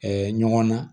ɲɔgɔn na